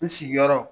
N sigiyɔrɔ